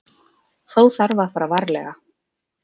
Þó þarf að fara varlega.